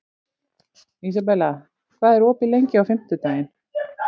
Ísabella, hvað er opið lengi á fimmtudaginn?